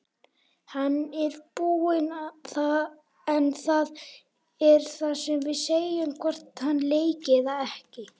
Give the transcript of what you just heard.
Hann er tilbúinn en það erum við sem segjum hvort hann leiki eða ekki.